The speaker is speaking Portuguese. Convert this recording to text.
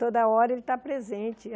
Toda hora ele está presente.